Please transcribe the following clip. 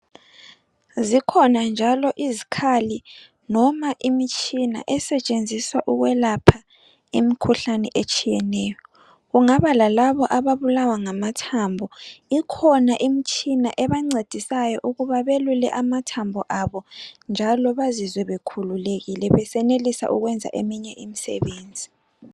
Zikhona njalo izikhali loma imitshina esetshenziswa ukwelapha imikhuhlane etshiyeneyo. Kungaba lalabo ababulawa ngamathambo ikhona imitshina ebancedisayo ukuba belule amathambo abo. Njalo bazizwe bekhululekile besenelisa ukwenza eminye imisebenzi.